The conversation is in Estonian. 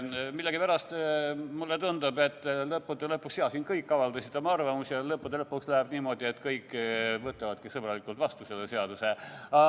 Millegipärast mulle tundub, et jah, siin kõik avaldasid oma arvamust, aga lõppude lõpuks läheb niimoodi, et kõik võtavadki sõbralikult selle seaduse vastu.